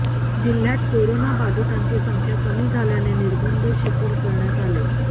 जिल्ह्यात करोना बाधितांची संख्या कमी झाल्याने निर्बंध शिथिल करण्यात आले